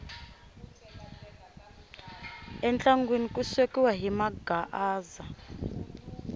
entlangwini ku swekiwa hi maghaaza